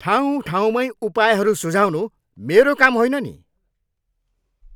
ठाउँ ठाउँमैँ उपायहरू सुझाउनु मेरो काम होइन नि।